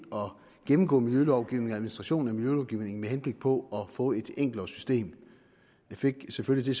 gennemgå miljølovgivningen og administrationen af miljølovgivningen med henblik på at få et enklere system jeg fik selvfølgelig